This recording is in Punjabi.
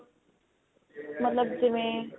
ਮਤਲਬ ਜਿਵੇਂ